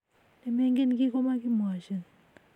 ne mengen kii ko makimwachin